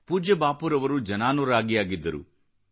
ಪೂಜ್ಯ ಬಾಪೂರವರು ಜನಾನುರಾಗಿಯಾಗಿದ್ದರು